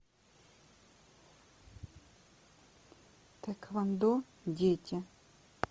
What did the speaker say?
тхэквондо дети